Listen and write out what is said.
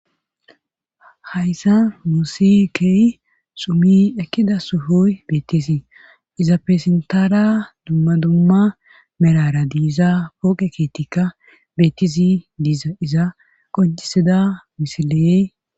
Hayssa Nusikey sumi ekkida suhoy beettisii iza pesentara dumma dumma merara diiza pooqe keetikka bettisi diiza iza qoncisida misiley